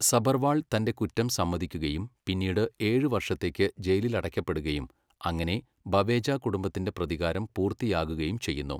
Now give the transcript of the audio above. സഭർവാൾ തൻ്റെ കുറ്റം സമ്മതിക്കുകയും പിന്നീട് ഏഴുവർഷത്തേക്ക് ജയിലിലടയ്ക്കപ്പെടുകയും അങ്ങനെ ബവേജ കുടുംബത്തിൻ്റെ പ്രതികാരം പൂർത്തിയാകുകയും ചെയ്യുന്നു.